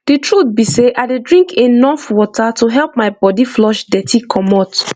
the truth be sey i dey drink enough water to help my body flush dirty commot